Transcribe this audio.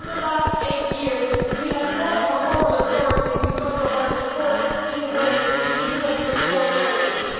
Over the last eight years we have lost our moral authority because of our support for the way in which the US has fought terrorism.